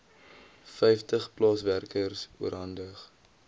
vyftig plaaswerkers oorhandig